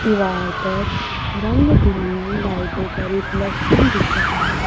दीवार पर रंग बिरंगी लाइटों का रिफ्लेक्शन दिख रहा हैं।